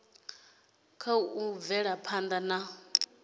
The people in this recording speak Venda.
kha u bvela phanda na